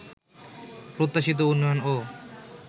প্রত্যাশিত উন্নয়নও